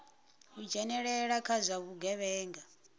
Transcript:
u dzhenelela kha zwa vhugevhenga